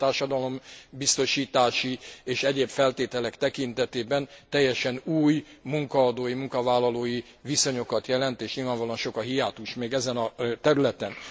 Ez mind a társadalombiztosítási és egyéb feltételek tekintetében teljesen új munkaadói, munkavállalói viszonyokat jelent és nyilvánvalóan sok a hiátus még ezen a területen.